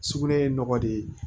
Sugunɛ ye nɔgɔ de ye